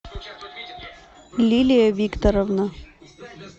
лилия викторовна